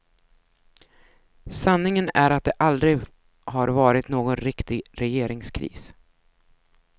Sanningen är att det aldrig har varit någon riktig regeringskris.